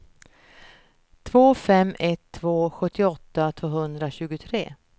två fem ett två sjuttioåtta tvåhundratjugotre